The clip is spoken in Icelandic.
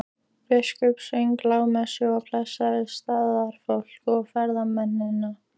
Biskup söng lágmessu og blessaði staðarfólk og ferðamennina.